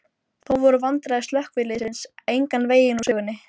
Þó voru vandræði slökkviliðsins engan veginn úr sögunni.